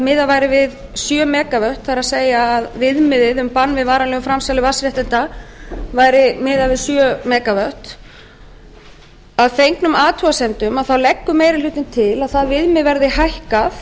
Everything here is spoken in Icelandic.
miðað væri við sjö mega vöttum það er að viðmiðið um bann við varanlegu framsali vatnsréttinda væri miðað við sjö mega vöttum að fengnum athugasemdum leggur meiri hlutinn til að það viðmið verði hækkað